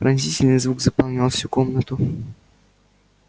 пронзительный звук заполнял всю комнату